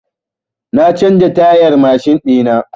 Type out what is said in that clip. Na canza tayar mashin ɗina.